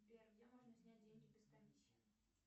сбер где можно снять деньги без комиссии